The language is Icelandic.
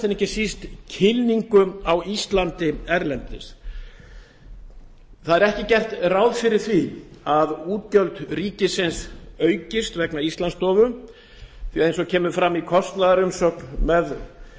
en ekki síst kynningu á íslandi erlendis ekki er gert ráð fyrir að útgjöld ríkisins aukist vegna íslandsstofu því að eins og kemur fram í kostnaðarumsögn með